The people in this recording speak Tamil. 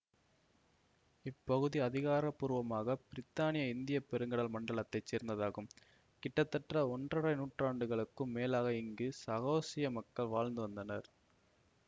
இப்பகுதி அதிகாரபூர்வமாக பிரித்தானிய இந்திய பெருங்கடல் மண்டலத்தைச் சேர்ந்ததாகும் கிட்டத்தட்ட ஒன்றரை நூற்றாண்டுகளுக்கும் மேலாக இங்கு சாகோசிய மக்கள் வாழ்ந்து வந்தனர்